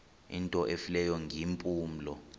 into efileyo ngeempumlo